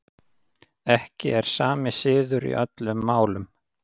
Ekki er sami siður í öllum málum.